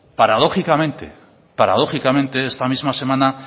paradójicamente esta misma semana